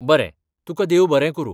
बरें ! तुकां देव बरें करूं.